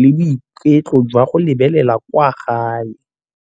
le boiketlo jwa go lebelela kwa gae.